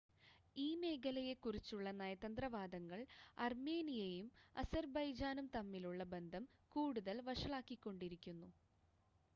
ഈ മേഖലയെക്കുറിച്ചുള്ള നയതന്ത്ര വാദങ്ങൾ അർമേനിയയും അസർബൈജാനും തമ്മിലുള്ള ബന്ധം കൂടുതൽ വഷളാക്കിക്കൊണ്ടിരിക്കുന്നു